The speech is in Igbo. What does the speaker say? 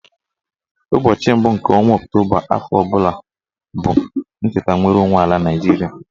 Ụbọchị mbụ nke ọnwa Ọktoba afọ ọbụla bụ ncheta nnwereonwe ala Naịjiria